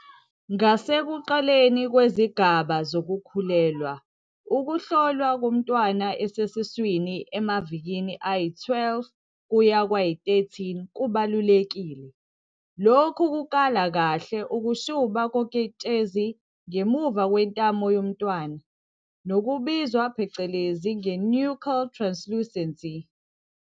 "Ngasekuqaleni kwezigaba zokukhulelwa, ukuhlolwa komntwana esesiswini emavikini ayi-12 kuya kwayi-13 kubalulekile. Lokhu kukala kahle ukushuba koketshezi ngemuva kwentamo yomntwana, nokubizwa phecelezi nge-nuchal translucency.